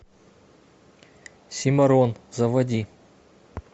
симорон заводи